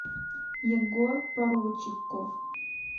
егор поручиков